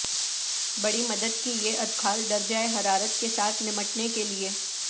بڑی مدد کی یہ ادخال درجہ حرارت کے ساتھ نمٹنے کے لئے